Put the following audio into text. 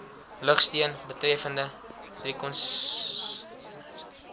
lugsteun betreffende reconnaissance